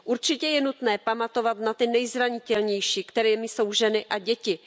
Určitě je nutné pamatovat na ty nejzranitelnější, kterými jsou ženy a děti.